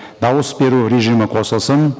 дауыс беру режимі қосылсын